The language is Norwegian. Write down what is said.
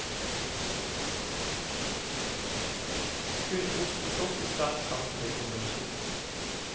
Kun ost og sopp i sterk sanselig kombinasjon.